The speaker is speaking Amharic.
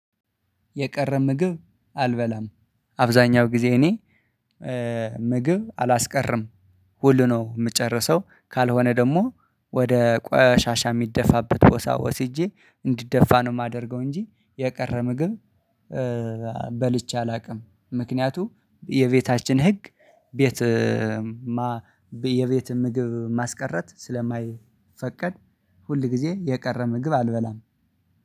የቀረ ምግብ አልበላም አብዛኛው ጊዜ እኔ ምግብ አላስቀርም ሁሉ ነው የምጨርሰው። ካልሆነ ደግሞ ወደ ቆሻሻ የሚደፋበት ቦታ ወስጄ እንዲደፋ ነው የማደርገው እንጂ የቀረ ምግብ በልቼ አላውቅም። ምክንያቱ የቤታችን ህግ ቤት የቤት ምግብ ማስቀረት ስለማይፈቀድ። ሁል ጊዜ የቀረ ምግብ አልበላም።